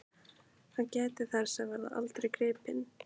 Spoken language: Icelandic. Hann gæti þess að verða aldrei gripinn.